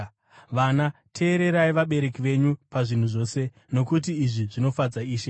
Vana, teererai vabereki venyu pazvinhu zvose, nokuti izvi zvinofadza Ishe.